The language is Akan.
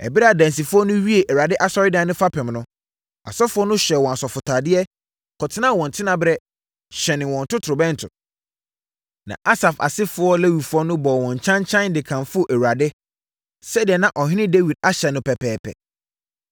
Ɛberɛ a adansifoɔ no wiee Awurade asɔredan no fapem no, asɔfoɔ no hyɛɛ wɔn asɔfotadeɛ, kɔtenaa wɔn tenaberɛ, hyɛnee wɔn totorobɛnto. Na Asaf asefoɔ Lewifoɔ no bɔɔ wɔn kyankyan de kamfoo Awurade sɛdeɛ na ɔhene Dawid ahyɛ no pɛpɛɛpɛ.